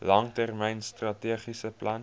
langtermyn strategiese plan